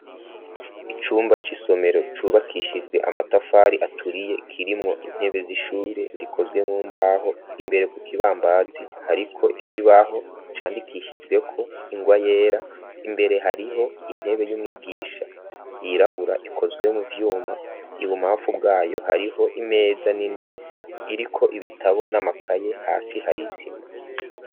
Icumba c'isomero cubakishijwe amatafari aturiye kirimwo intebe z'ishure zikozwe mu mbaho imbere ku kibambazi hariko ikibaho candikishijweko ingwa yera imbere hariho intebe y'umwigisha yirabura ikozwe mu vyuma ibu mamfu bwayo hariho imeza za nini iriko ibitabo n'amakaye hasi harisima.